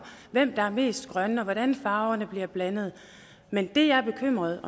hvem der er mest grønne og hvordan farverne bliver blandet men det jeg er bekymret